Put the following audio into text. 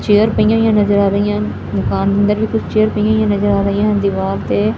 chair ਪਈਆਂ ਹੋਈਆਂ ਨਜ਼ਰ ਆ ਰਹੀਆਂ ਦੁਕਾਨ ਅੰਦਰ ਵੀ ਕੁਝ ਚੇਅਰ ਪਈਆਂ ਨਜ਼ਰ ਆ ਰਹੀਆਂ ਦੀਵਾਰ ਤੇ--